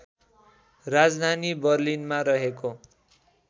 राजधानी बर्लिनमा रहेको